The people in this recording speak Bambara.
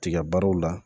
Tiga baaraw la